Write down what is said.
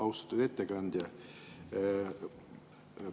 Austatud ettekandja!